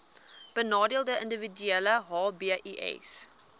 benadeelde individue hbis